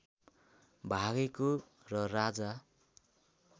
भागेको र राजा